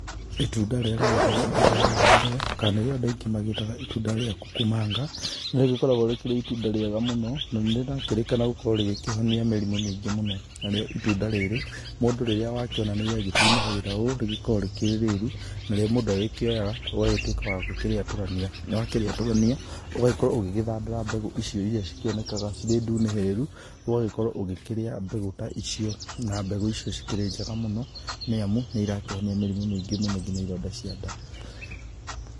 Itunda rĩrĩa rĩgĩtagwo itunda rĩa thandũro kana nĩ rĩo andũ aingĩ magĩtaga itunda rĩa kukumanga. Nĩ rĩgĩkoragwo rĩkĩrĩ itunda rĩega mũno na nĩrakĩrĩkana gũkorwo rĩkĩhonia mĩrimũ mĩingĩ mũno. Narĩo itunda rĩrĩ mũndũ rĩrĩa wakĩona nĩrĩa gĩtunĩhĩrĩra ũũ rĩgĩkoragwo rĩkĩrĩ rĩru. Narĩo mũndũ agĩkĩoyaga ũgagĩtuĩka wakũrĩatũrania na wakĩrĩatũrania, ũgagĩkorwo ũgĩgĩthandũra mbegũ icio iria cikĩonekaga cirĩ ndunĩhĩrĩru ũgagĩkorwo ũgĩkĩrĩa mbegũ ta icio. Na mbegũ icio cikĩrĩ njega mũno nĩ amu nĩ irakĩhonia mĩrimũ mĩingĩ mũno ngina ironda cia nda.